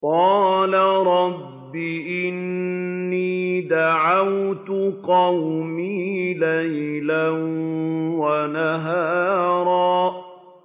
قَالَ رَبِّ إِنِّي دَعَوْتُ قَوْمِي لَيْلًا وَنَهَارًا